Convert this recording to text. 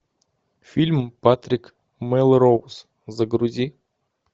фильм патрик мелроуз загрузи